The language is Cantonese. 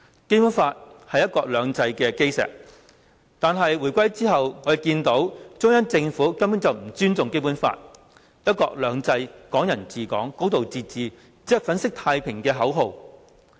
《基本法》是"一國兩制"的基石，但回歸之後，我們看到中央政府根本不尊重《基本法》，"一國兩制"、"港人治港"、"高度自治"只是粉飾太平的口號。